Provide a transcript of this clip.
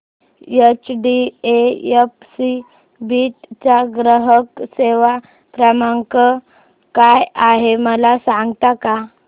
HDFC Beed चा ग्राहक सेवा क्रमांक काय आहे मला सांगता का